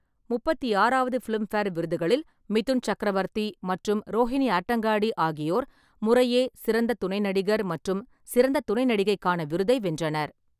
முப்பத்தி ஆறாவது ஃபிலிம்பேர் விருதுகளில், மிதுன் சக்ரவர்த்தி மற்றும் ரோஹினி ஹட்டாங்கடி ஆகியோர் முறையே சிறந்த துணை நடிகர் மற்றும் சிறந்த துணை நடிகைக்கான விருதை வென்றனர்.